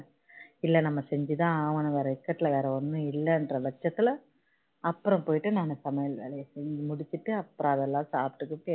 இல்ல நம்ம செஞ்சி தான் ஆகனும் வேற இக்கட்டுல வேற ஒன்னும் இல்லன்ற பட்சத்துல அப்பறோம் போயிட்டு நான் சமையல வேலைய செஞ்சி முடிச்சிட்டு அப்பறோம் அதெல்லாம் சாப்பிட்டு கிப்பிடு